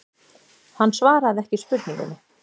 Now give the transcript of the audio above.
Hann svaraði ekki spurningunni.